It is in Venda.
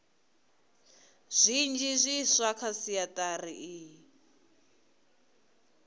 zwinzhi zwiswa kha sentshari iyi